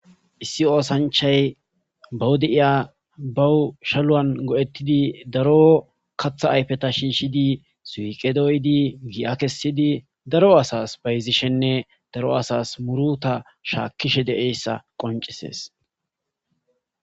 issi oosanchay baw deiya bawushaluwan go7ettidi daro katha ayfeta shiishidi suqedoydi gi7a kessidi daro asas bayzishenne daro asas muruta shaakkishe de7eyssa qoncisees